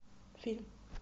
фильм